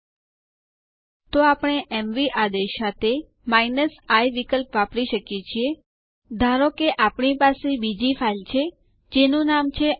ચાલો હું તમને યુઝર અકાઉન્ટ ડક માટે સમાપ્તિ ની તારીખ કેવી રીતે સુયોજિત કરવું તે બતાઉ